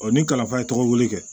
ni kalanfara ye tɔgɔ wuli kɛ